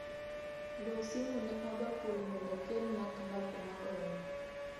goyo simu ne uberpool mondo okelna klab ma goyo